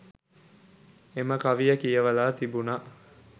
එම කවිය කියවලා තිබුණා